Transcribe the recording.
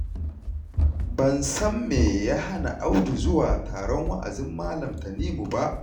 Ban san me ya hana Audu zuwa taron wa'azin Malam Tanimu ba